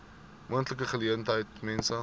moontlike geleentheid mense